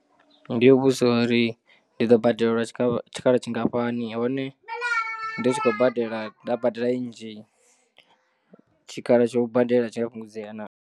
Ndi yo vhudzisa uri ndi ḓo badela tshikhala tshikhala tshingafhani hone ndi tshi khou badela nda badela i nnzhi tshikhala tsho u badela tshi a fhungudzea naa.